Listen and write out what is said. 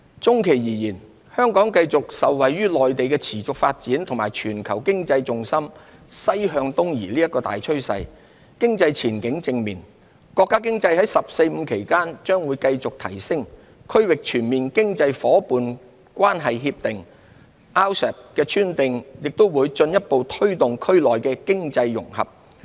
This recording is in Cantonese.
中期而言，香港會繼續受惠於內地的持續發展及全球經濟重心西向東移的大趨勢，經濟前景正面。國家經濟在"十四五"期間將會繼續提升，《區域全面經濟伙伴關係協定》的簽訂也會進一步推動區內經濟融合。